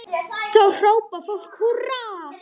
Þá hrópar fólk húrra.